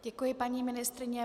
Děkuji, paní ministryně.